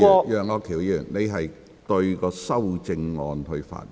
楊岳橋議員，你應針對修正案發言。